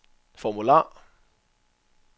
formular